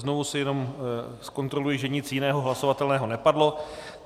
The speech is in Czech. Znovu si jenom zkontroluji, že nic jiného hlasovatelného nepadlo.